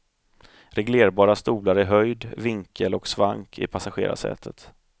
Reglerbara stolar i höjd, vinkel och svank i passagerarsätet.